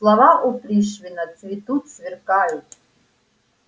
слова у пришвина цветут сверкают